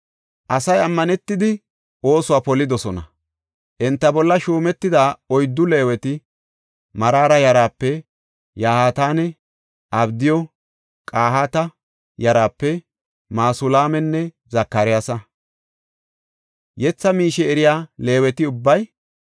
Asay ammanetidi oosuwa polidosona. Enta bolla shuumetida oyddu Leeweti, Maraara yaraape Yahaatanne Abdiyu, Qahaata yaraape Masulaamanne Zakariyasa. Yetha miishe ka7i eriya Leeweti ubbay,